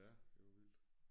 Ja det var vildt